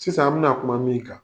Sisan an bena kuma min kan